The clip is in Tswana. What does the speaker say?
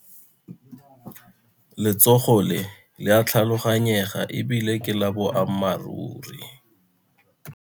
Letshogo le le a tlhaloganyega e bile ke la boammaruri.